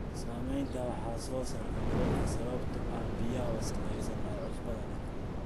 Saamaynta wax soo saarka dalagga sababtoo ah biyaha wasakhaysan ee cusbada leh.